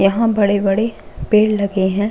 यहाँ बड़े - बड़े पेड़ लगे है।